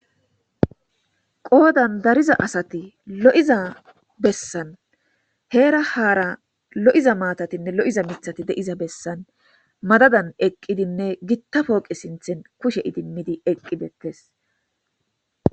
qoodan dariza asati lo7iza bessan heera haara lo7iza maatatinne lo7iza mithati deiza bessan madadan eqqidinne gittapooqe sinthen kushe idimmidi eqqidettes